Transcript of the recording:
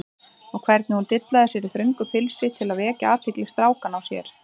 Og hvernig hún dillaði sér í þröngu pilsinu til að vekja athygli strákanna á sér!